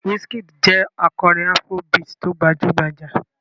Wizkid jẹ́ akọrin afrobeat tó gbajú-gbajà.